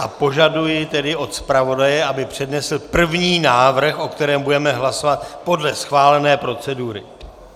A požaduji tedy od zpravodaje, aby přednesl první návrh, o kterém budeme hlasovat podle schválené procedury.